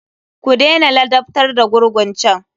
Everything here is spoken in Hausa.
Ku dena ladabtar da gurgun can!